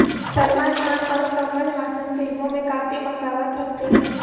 سلمان خان اور کمل ہاسن فلموں میں کافی مساوات رکھتے ہیں